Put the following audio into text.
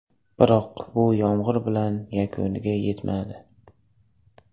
Biroq bu yomg‘ir bilan yakuniga yetmadi.